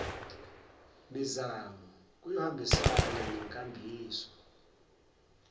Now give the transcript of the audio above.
mizamo kuyohambisana nenkambiso